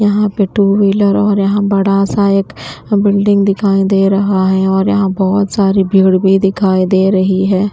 यहां पे two wheeler और यहां बड़ा सा एक बिल्डिंग दिखाई दे रहा है और यहां बहुत सारी भीड़ भी दिखाई दे रही है।